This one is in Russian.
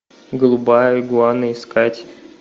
голубая игуана искать